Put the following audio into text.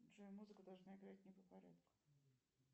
джой музыка должна играть не по порядку